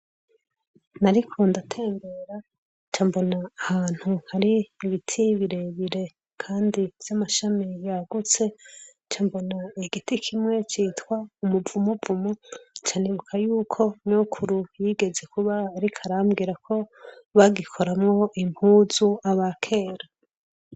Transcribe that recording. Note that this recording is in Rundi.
Nariko ndatembera cambona ahantu hari ibiti birebire, kandi vy'amashami yagutse cambona igiti kimwe citwa umuvumuvumu canibuka yuko nokuru yigeze kuba, ariko arambwirako bagikoramwo impuzu aba kera.